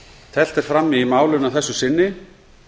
teflt er fram í málinu að þessu sinni